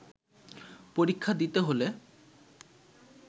পরীক্ষা দিতে হলে